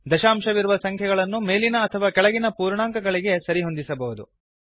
ದಂಶಾಂಶವಿರುವ ಸಂಖ್ಯೆಗಳನ್ನು ಮೇಲಿನ ಅಥವಾ ಕೆಳಗಿನ ಪೂರ್ಣಾಂಕಗಳಿಗೆ ಸರಿಹೊಂದಿಸಬಹುದು